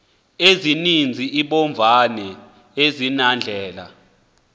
ezininzi iimbovane azinandlela